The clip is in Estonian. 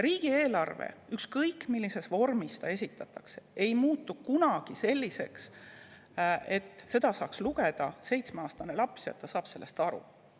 Riigieelarve, ükskõik millises vormis see esitatakse, ei muutu kunagi selliseks, et seda saab lugeda seitsmeaastane laps ja ta saab sellest aru.